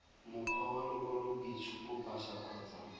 mokgwa wa lokwaloboitshupo pasa kgotsa